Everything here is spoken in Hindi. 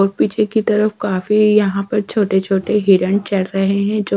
और पीछे की तरफ काफी यहां पर छोटे छोटे हिरन चर रहे हैं जो--